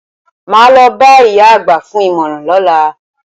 Màá lo bá ìyá àgbà fún ìmọ̀ràn lọ́la.